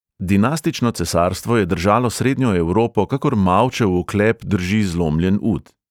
Dinastično cesarstvo je držalo srednjo evropo, kakor mavčev oklep drži zlomljen ud.